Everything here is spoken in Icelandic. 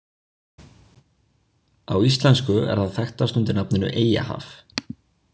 Á íslensku er það þekkast undir nafninu Eyjahaf.